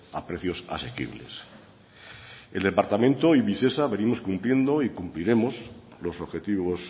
a precios asequibles el departamento y visesa venimos cumpliendo y cumpliremos los objetivos